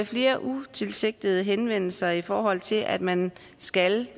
flere utilsigtede henvendelser i forhold til at man skal